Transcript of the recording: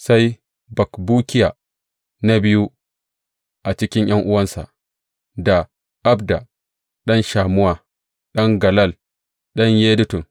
Sai Bakbukiya, na biyu a cikin ’yan’uwansa; da Abda ɗan Shammuwa, ɗan Galal, ɗan Yedutun.